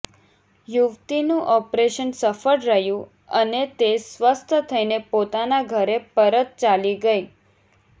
યુવતીનું operation સફળ રહ્યું અને તે સ્વસ્થ થઈને પોતાના ઘરે પરત ચાલી ગઈ